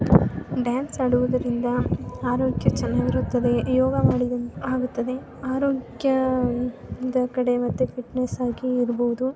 Dance ಆಡುವುದರಿಂದ ಆರೋಗ್ಯ ಚೆನ್ನಾಗಿರುತ್ತದೆ. ಯೋಗ ಮಾಡುದು ಆಗುತ್ತದೆ. ಆರೋಗ್ಯದ ಕಡೆ ಮತ್ತೆ ಫಿಟ್ನೆಸ್ ಆಗಿ ಇರಬಹುದು.